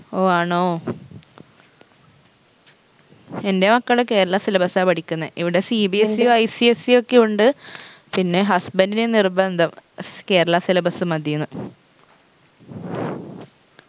ഓ ആണോ എൻറെ മക്കള് കേരള syllabus ആ പഠിക്കുന്നെ ഇവിടെ CBSE ഉ ICSE ഒക്കെ ഉണ്ട് പിന്നേ husband ന് നിർബന്ധം കേരള syllabus മതീന്ന്